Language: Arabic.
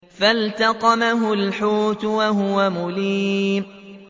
فَالْتَقَمَهُ الْحُوتُ وَهُوَ مُلِيمٌ